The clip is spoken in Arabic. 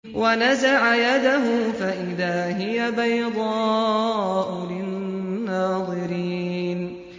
وَنَزَعَ يَدَهُ فَإِذَا هِيَ بَيْضَاءُ لِلنَّاظِرِينَ